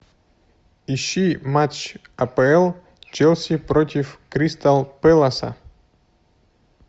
ищи матч апл челси против кристал пэласа